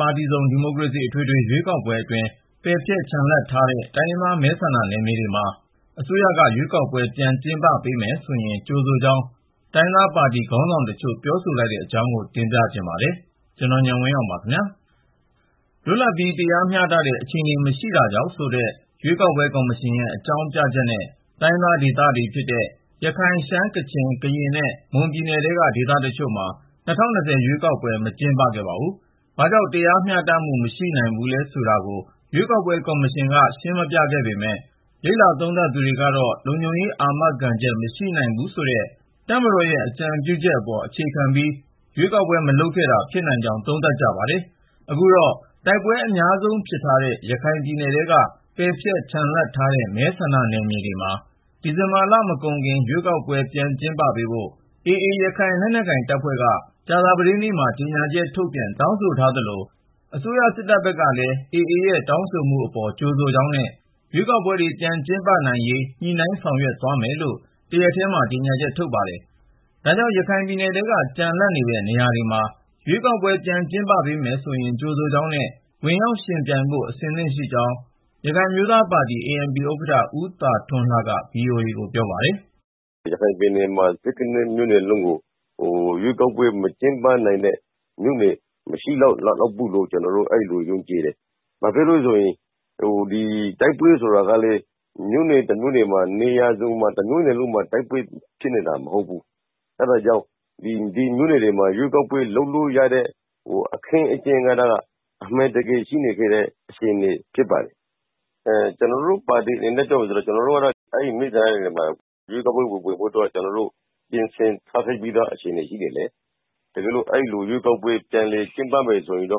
ပါတီစုံ ဒီမိုကရေစီ အထွေထွေ ရွေးကောက်ပွဲအတွင်း ပယ်ဖျက် ချန်လှပ်ထားခဲ့တဲ့ တိုင်းရင်းသား မဲဆန္ဒနယ်မြေတွေမှာ အစိုးရက ရွေးကောက်ပွဲ ပြန်ကျင်းပ ပေးမယ်ဆိုရင် ကြိုဆိုကြောင်း တိုင်းရင်းသားပါတီ ခေါင်းဆောင်တချို့ ပြောဆိုလိုက်တဲ့အကြောင်းကို ကို ဉာဏ်ဝင်းအောင် တင်ပြပေးမှာပါ။ လွတ်လပ်ပြီး တရားမျှတတဲ့ အခြေအနေ မရှိတာကြောင့်ဆိုတဲ့ ရွေးကောက်ပွဲ ကော်မရှင်ရဲ့ အကြောင်းပြချက်နဲ့ တိုင်းရင်းသားဒေသတွေဖြစ်တဲ့ ရခိုင်၊ ရှမ်း ၊ ကချင်၊ ကရင်နဲ့မွန်ုပြည်နယ်ထဲက ဒေသတချို့မှာ ၂၀၂၀ ရွေးကောက်ပွဲ မကျင်းပခဲ့ပါဘူး။ ဘာကြောင့် တရားမျှတမှု မရှိနိုင်ဘူးလဲ ဆိုတာကို ရွေးကောက်ပွဲ ကော်မရှင်က ရှင်းမပြခဲ့ပေမယ့် လေ့လာသုံးသပ်သူတွေကတော့ လုံခြုံရေး အာမခံချက် မရှိနိုင်ဘူးဆိုတဲ့ တပ်မတော်ရဲ့အကြံပြုချက် အပေါ်အခြေခံပြီး ရွေးကောက်ပွဲ မလုပ်ခဲ့တာ ဖြစ်နိုင်ကြောင်း သုံးသပ်ကြပါတယ်။ အခုတော့ တိုက်ပွဲ အများဆုံးဖြစ်ထားတဲ့ ရခိုင်ပြည်နယ်ထဲက ပယ်ဖျက် ချန်လှပ် ထားခဲ့တဲ့ မဲဆန္ဒနယ်မြေတွေမှာ ဒီဇင်ဘာလ မကုန်ခင် ရွေးကောက်ပွဲ ပြန်ကျင်းပ ပေးဖို့ AA ရခိုင်လက်နက်ကိုင်တပ်ဖွဲ့က ကြာသပတေးနေ့မှာ ကြေညာချက်ထုတ်ပြန် တောင်းဆိုထားသလို၊ အစိုးရ စစ်တပ် ဘက်ကလည်း AA ရဲ့တောင်းဆိုမှု အပေါ် ကြိုဆိုကြောင်းနဲ့ ရွေးကောက်ပွဲတွေ ပြန်ကျင်းပနိုင်ရေး ညှိနှိုင်းဆောင်ရွက်သွားမယ်လို့ တရက်ထဲမှာ ကြေညာချက် ထုတ်ပါတယ်။ ဒါကြောင့် ရခိုင်ပြည်နယ်ထဲက ကျန်လပ်နေတဲ့ နေရာတွေမှာ ရွေးကောက်ပွဲ ပြန်ကျင်းပ ပေးမယ်ဆိုရင် ကြိုဆိုကြောင်းနဲ့ ဝင်ရောက်ယှဉ်ပြိုင်ဖို့ အဆင်သင့်ရှိကြောင်း ရခိုင်အမျိုးသားပါတီ ANP ဥက္ကဌ ဦးသာထွန်းလှက VOA ကို ပြောပါတယ်။ “ရခိုင်ပြည်နယ်က (၁၇)မြို့နယ်လုံးမှာ ရွေးကောက်ပွဲ မကျင်းပနိုင်လောက်တဲ့ မြို့နယ်ဆိုတာ မရှိဘူးလို့ ကျနော် ထင်တယ်။ ဘာဖြစ်လို့လည်းဆိုရင် တိုက်ပွဲ ဆိုတာကလည်း မြို့နယ်တမြို့နယ်က နေရာစုံမှာ တိုက်ပွဲ ဖြစ်နေတာ မဟုတ်ဘူး။ အဲဒါကြောင့် ဒီမြို့နယ်တွေမှာ ရွေးကောက်ပွဲ လုပ်လို့ရနိုင်တဲ့ အခင်းအကျင်းရှိနေတာ အမှန်ပဲ။ ကျနော်တို့ပါတီကတော့ အဲဒီ မြို့နယ်တွေမှာ ရွေးကောက်ပွဲဝင်ဖို့ ပြင်ဆင်ထားပြီးသားဆိုတော့ တကယ်လို့ ရွေးကောက်ပွဲ ပြန်လည် ကျင်းပမယ်ဆိုရင် ကျ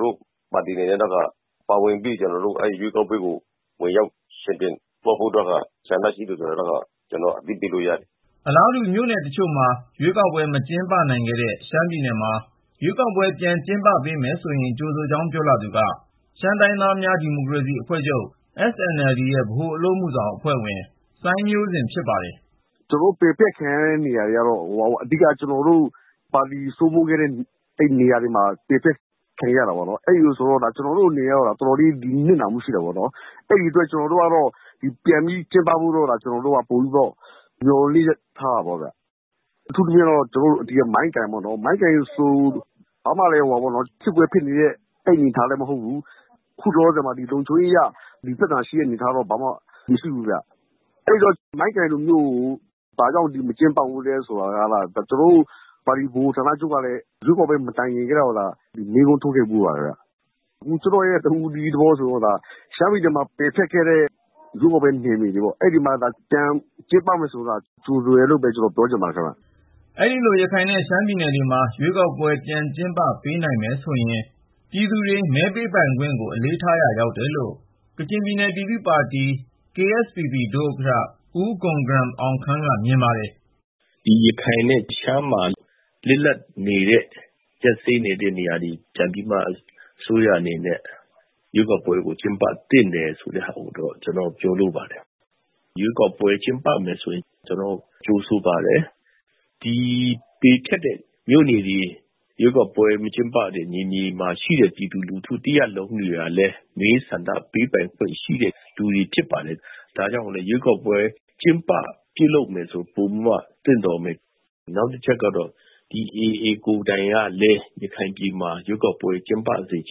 နော်တို့ ANP က ဝင်ရောက် ယှဉ်ပြိုင်သွားဖို့ ဆန္ဒရှိပါတယ်။” အလားတူ မြို့နယ်တချို့မှာ ရွေးကောက်ပွဲ မကျင်းပနိုင်ခဲ့တဲ့ ရှမ်းပြည်နယ်မှာ ရွေးကောက်ပွဲ ပြန်ကျင်းပ ပေးမယ်ဆိုရင် ကြိုဆိုကြောင်း ပြောလာသူက ရှမ်းတိုင်းရင်းသားများ ဒီမိုကရေစီအဖွဲ့ချုပ် SNLD ရဲ့ ဗဟိုအလုပ်အမှုဆောင် ကော်မတီဝင် စိုင်းမျိုးဇင် ဖြစ်ပါတယ်။ “ ရှမ်းပြည်နယ်မှာ ရွေးကောက်ပွဲ ပယ်ဖျက်ခံရတဲ့ နေရာတတွေက ကျနော်တို့ပါတီ စိုးမိုးခဲ့တဲ့ နေရာတွေလို့တောင် ပြောလို့ ရပါတယ်။ ကျနော်တို့အနေနဲ့ နစ်နာခဲ့တယ်လို့ ဆိုလို့ရပါတယ်။ အဲလိုဆိုတော့ ရွေးကောက်ပွဲ ပြန်ကျင်းပပေးဖို့ မျှော်လင့်ချက် ထားတာပေါ့နော်။ အထူးသဖြင့်တော့ မိုင်းကိုင်မြို့နယ်ပေါ့ ။ မိုင်းကိုင်ဆိုရင် ဘာမှလည်း စစ်ပွဲ ဖြစ်နေတဲ့အနေအထား မဟုတ်ဘူး။ ခုလောလောဆယ်မှာ လုံခြုံရေးအရ ဘာပြဿနာမှလည်း မရှိဘူးဗျ။ အဲဒီတော့ မိုင်းကိုင်လို မြို့နယ်မျိုးမှာ ဘာကြောင့် ရွေးကောက်ပွဲ မကျင်းပရသလဲဆိုတာကို ကျနော်တို့ ပါတီဗဟိုဌာနချုပ်ကလည်း ရွေးကောက်ပွဲ မတိုင်ခင် ကတည်းက မေးခွန်းထုတ်ခဲ့ဖူးပါတယ်။ ကျနော့် တဦးတည်းသော သဘောအရ ပြောရရင် ရှမ်းပြည်နယ်မှာ ပယ်ဖျက်ခဲ့တဲ့ ရွေးကောက်ပွဲ နယ်မြေ တွေပေါ့ အဲဒီမှာသာ ပြန်ကျင်းပမယ်ဆိုရင် ကြိုဆိုတယ်လို့ပဲ ကျနော် ပြောချင်ပါတယ်။” အဲဒီလို ရခိုင်နဲ့ ရှမ်းပြည်နယ်တွေမှာ ရွေးကောက်ပွဲ ပြန်ကျင်းပ ပေးနိုင်မယ်ဆိုရင် ပြည်သူတွေ မဲပေးပိုင်ခွင့်ကို အလေးထားရာ ရောက်တယ်လို့ ကချင်ပြည်နယ် ပြည်သူ့ပါတီ KSPP ဒုဥက္ကဌ ဦးဂွမ်ဂရမ် အောင်ခမ်းက မြင်ပါတယ်။ “ ဒီ ရခိုင်နဲ့ ရှမ်းမှာ လစ်လပ်နေတဲ့ နေရာတွေ ၊ ရပ်စဲနေတဲ့ နေရာတွေကို အစိုးရက ပြန်ပြီးတော့မှ ရွေးကောက်ပွဲ ကျင်းပသင့်တယ်ဆိုတဲ့ ဟာကို ကျနော်တို့ ပြောလိုပါတယ်။ ရွေးကောက်ပွဲ ကျင်းပမယ်ဆို ကြိုဆိုပါတယ်။ ဒီ ပယ်ဖျက်တဲ့ မြို့နယ်တွေ ၊ ရွေးကောက်ပွဲ မကျင်းပခဲ့တဲ့ နေရာတွေက ပြည်သူလူထု တွေဟာလည်း မဲဆန္ဒ ပေးပိုင်ခွင့်ရှိတဲ့ လူတွေဖြစ်ပါတယ်။ ဒါကြောင့်လည်း ရွေးကောက်ပွဲ ကျင်းပပြုလုပ်မယ်ဆိုရင် ပိုပြီးတော့မှ သင့်တော်မယ်။ နောက်တချက်က ဒီ AA တပ်ဖွဲ့ ကိုယ်တိုင်ကလည်း ရခိုင်ပြည်နယ်မှာ ရွေးကောက်ပွဲ ကျင်းပစေချ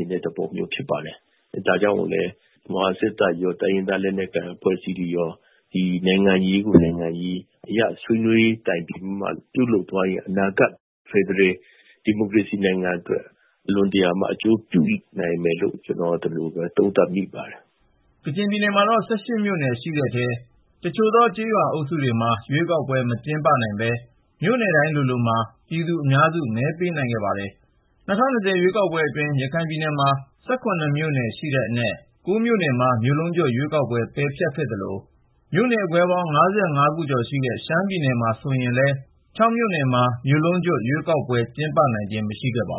င်တဲ့ သဘောရှိပါတယ်။ ဒါကြောင့်လည်း မြန်မာစစ်တပ်ရော တိုင်းရင်းသားလက်နက်ကိုင် အဖွဲ့အစည်းတွေရော နိုင်ငံရေးကို နိုင်ငံရေးနည်းအရ ဆွေးနွေး တိုင်ပင်ပြီးမှ ပြုလုပ်သွားရင် အနာဂတ် ဖက်ဒရယ် ဒီမိုကရေစီနိုင်ငံအတွက် အလွန်တရာမှ အကျိုးပြုနိုင်လိမ့်မယ်လို့ ကျနော် သုံးသပ်မိပါတယ်။” ကချင်ပြည်နယ်မှာတော့ (၁၈) မြို့နယ်ရှိတဲ့ထဲက တချို့သော ကျေးရွာအုပ်စုတွေမှာ ရွေးကောက်ပွဲ မကျင်းပနိုင်ပေမယ့် မြို့နယ်တိုင်းလိုလိုမှာ ပြည်သူအများစု မဲပေးနိုင်ခဲ့ပါတယ်။ ၂၀၂၀ ရွေးကောက်ပွဲအတွင်း ရခိုင်ပြည်နယ်မှာ (၁၇)မြို့နယ် ရှိတဲ့အနက် မြို့နယ် (၉)ခုမှာ မြို့လုံးကျွတ် ရွေးကောက်ပွဲ ပယ်ဖျက်ခဲ့သလို၊ မြို့နယ်ခွဲပေါင်း (၅၅)ခု ကျော်ရှိတဲ့ ရှမ်းပြည်နယ်မှာဆိုရင်လည်း (၆) မြို့နယ်မှာ မြို့လုံးကျွတ် ရွေးကောက်ပွဲ ကျင်းပနိုင်ခြင်း မရှိခဲ့ပါဘူ